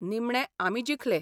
निमणे आमी जिखले.